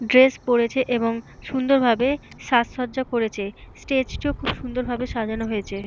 Dress পরেছে এবং সুন্দর ভাবে সাজসজ্জা করেছে। স্টেজ টিও খুব সুন্দর ভাবে সাজানো হয়েছে।